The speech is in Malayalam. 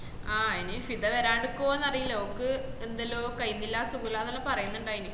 ആഹ് എനി ഫിദ വെരണ്ടുക്കൊന്ന് അറീല ഓക്ക് എന്തല്ലോ കയീന്നില്ല സുഗല്ലന്നല്ലാം പറയുന്നുണ്ടയ്‌ന